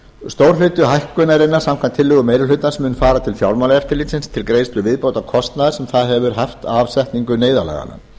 stór hluti hækkunarinnar samkvæmt tillögum meiri hlutans mun fara til fjármálaeftirlitsins til greiðslu viðbótarkostnaðar sem það hefur haft af setningu neyðarlaganna